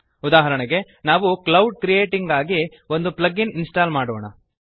ಉದಾಹರಣೆಗೆ ನಾವು cloud creating ಗಾಗಿ ಒಂದು ಪ್ಲಗ್ ಇನ್ ಇನ್ಸ್ಟಾಲ್ ಮಾಡೋಣ